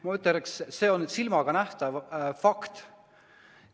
Ma ütleks, et see on silmaga nähtav fakt.